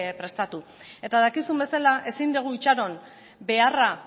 prestatu eta dakizun bezala ezin dugu itxaron beharra